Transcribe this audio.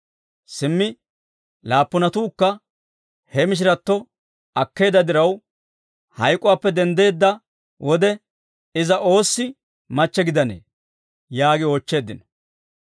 Simmi laappunatuukka he mishiratto akkeedda diraw, hayk'uwaappe denddeedda wode, iza oossi machche gidanee?» yaagi oochcheeddino.